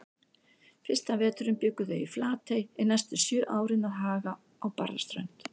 Fyrsta veturinn bjuggu þau í Flatey en næstu sjö árin að Haga á Barðaströnd.